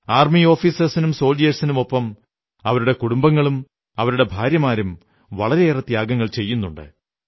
army ഓഫീസേഴ്സിനും സോൽജിയേഴ്സിനുമൊപ്പം അവരുടെ കുടുംബങ്ങളും അവരുടെ ഭാര്യമാരും വളരെയേറെ ത്യാഗം ചെയ്യുന്നുണ്ട്